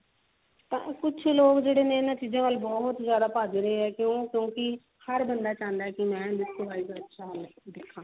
ਕੁਛ ਲੋਕ ਜਿਹੜੇ ਨੇ ਇਹਨਾਂ ਚੀਜ਼ਾਂ ਵੱਲ ਬਹੁਤ ਜਿਆਦਾ ਭੱਜ ਰਹੇ ਨੇ ਕਿਉਂਕਿ ਹਰ ਬੰਦਾ ਚਾਹੁੰਦਾ ਕੀ ਮੈਂ ਬਾਹਰ ਤੋਂ ਅੱਛਾ ਦਿਖਾ